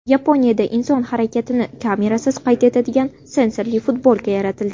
Yaponiyada inson harakatini kamerasiz qayd etadigan sensorli futbolka yaratildi.